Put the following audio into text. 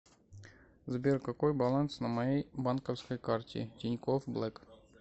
сбер какой баланс на моей банковской карте тинькофф блэк